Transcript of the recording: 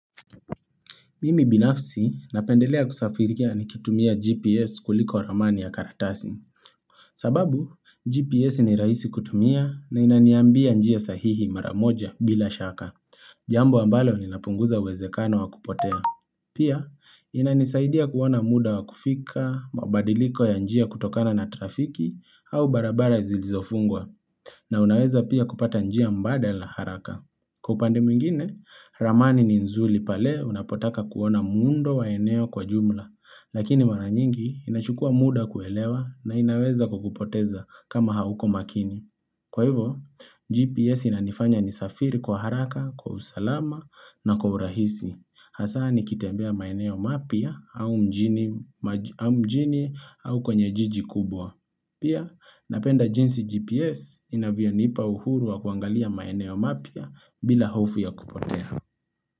Mimi binafsi napendelea kusafirikia nikitumia GPS kuliko ramani ya karatasi. Sababu, GPS ni rahisi kutumia na inaniambia njia sahihi maramoja bila shaka. Jambo ambalo linapunguza uwezekano wa kupotea. Pia, inanisaidia kuona muda wa kufika, mabadiliko ya njia kutokana na trafiki au barabara zilizofungwa na unaweza pia kupata njia mbadala haraka. Kwa upande mwingine, ramani ni nzuri pale unapotaka kuona muundo wa eneo kwa jumla, lakini mara nyingi inachukua muda kuelewa na inaweza kukupoteza kama hauko makini. Kwa hivyo, GPS inanifanya nisafiri kwa haraka, kwa usalama na kwa urahisi. Hasa nikitembea maeneo mapya au mjini au kwenye jiji kubwa. Pia napenda jinsi GPS inavyonipa uhuru wa kuangalia maeneo mapya bila hofu ya kupotea.